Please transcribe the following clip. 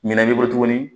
Ɲinɛn b'i bolo tuguni